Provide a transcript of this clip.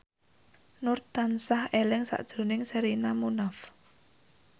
Nur tansah eling sakjroning Sherina Munaf